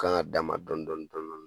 Kan ga dama dɔɔnin dɔɔnin